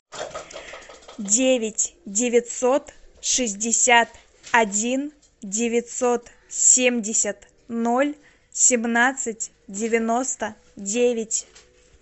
девять девятьсот шестьдесят один девятьсот семьдесят ноль семнадцать девяносто девять